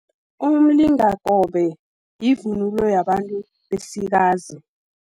Umlingakobe, yivunulo yabantu besikazi.